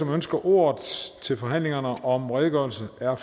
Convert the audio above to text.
ønsker ordet til forhandlingerne om redegørelse r